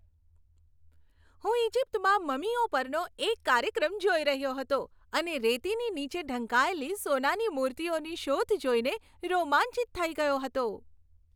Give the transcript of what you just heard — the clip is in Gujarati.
હું ઇજિપ્તનાં મમીઓ પરનો એક કાર્યક્રમ જોઈ રહ્યો હતો અને રેતીની નીચે ઢંકાયેલી સોનાની મૂર્તિઓની શોધ જોઈને રોમાંચિત થઈ ગયો હતો.